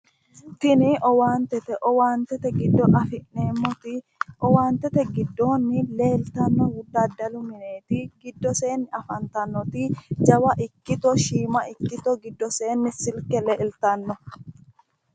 tini owaantete owaantete giddoonni afi'neemmoti owaantete giddonni leeltannohu dadalu mineeti giddoseenni afantannoti jawa ikkito shiima ikkito giddoseenni silke leeltanno.